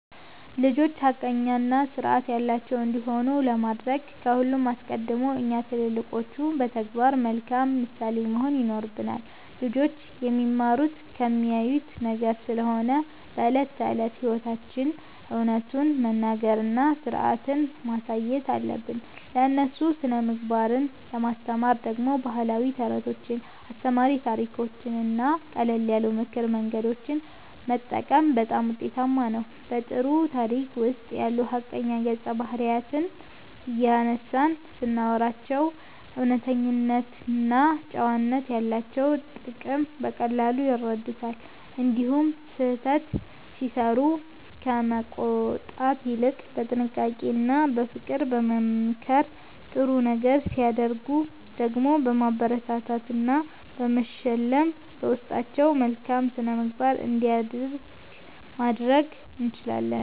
ልጆች ሐቀኛና ሥርዓት ያላቸው እንዲሆኑ ለማድረግ ከሁሉ አስቀድሞ እኛ ትልልቆቹ በተግባር መልካም ምሳሌ መሆን ይኖርብናል። ልጆች የሚማሩት ከሚያዩት ነገር ስለሆነ በዕለት ተዕለት ሕይወታችን እውነቱን መናገርና ሥርዓትን ማሳየት አለብን። ለእነሱ ሥነ-ምግባርን ለማስተማር ደግሞ ባህላዊ ተረቶችን፣ አስተማሪ ታሪኮችንና ቀለል ያሉ የምክር መንገዶችን መጠቀም በጣም ውጤታማ ነው። በጥሩ ታሪክ ውስጥ ያሉ ሐቀኛ ገጸ-ባህሪያትን እያነሳን ስናወራላቸው እውነተኝነትና ጨዋነት ያላቸውን ጥቅም በቀላሉ ይረዱታል። እንዲሁም ስህተት ሲሠሩ ከመቆጣት ይልቅ በጥንቃቄና በፍቅር በመምከር፣ ጥሩ ነገር ሲያደርጉ ደግሞ በማበረታታትና በመሸለም በውስጣቸው መልካም ሥነ-ምግባር እንዲያድግ ማድረግ እንችላለን።